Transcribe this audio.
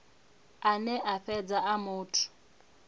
ane a fhedza a muthu